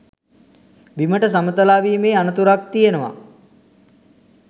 බිමට සමතලාවීමේ අනතුරක් තියෙනවා.